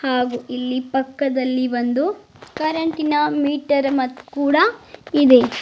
ಹಾಗು ಇಲ್ಲಿ ಪಕ್ಕದಲ್ಲಿ ಒಂದು ಕರೆಂಟಿನ ಮೀಟರ್ ಮ ಕೂಡ ಇದೆ.